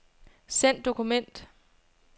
Send dokument.